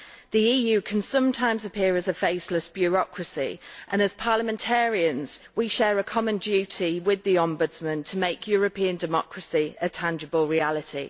The EU can sometimes appear as a faceless bureaucracy, and as parliamentarians we share a common duty with the Ombudsman to make European democracy a tangible reality.